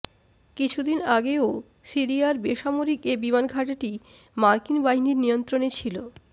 কিছুদিন আগেও সিরিয়ার বেসামরিক এ বিমানঘাঁটিটি মার্কিন বাহিনীর নিয়ন্ত্রণে ছিল